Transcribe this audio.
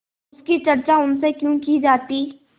उसकी चर्चा उनसे क्यों की जाती